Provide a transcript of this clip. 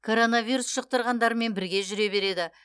коронавирус жұқтырғандармен бірге жүре береді